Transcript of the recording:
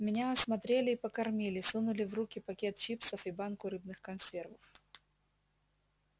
меня осмотрели и покормили сунули в руки пакет чипсов и банку рыбных консервов